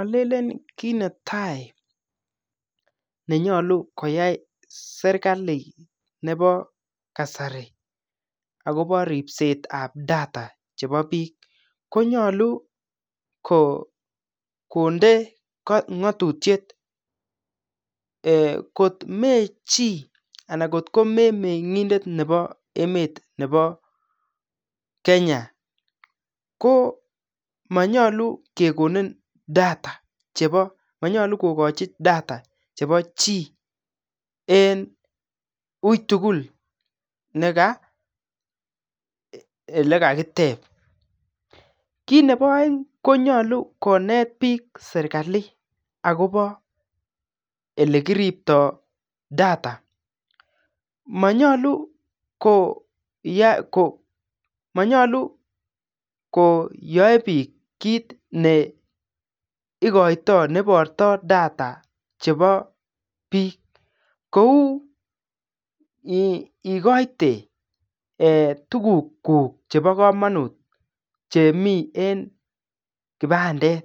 Alelen kit netai nenyolu koyai serikali nebo kasari akopo ripsetab data chebo biik, konyolu kondee ng'atutuiet, eeh kot me chii anan kot ko memeng'indet ne bo emet ne bo kenya koo manyolu kekonin data chebo chii en uitugul ele kakitep, kit nebo aeng konyolu konet biik serikali akopo olekiriptoo data, manyolu koyoe biik kit neikoito nebortoo data chebo biik kou eeh ikoite tuguk chebo kamonut chemi en kipandet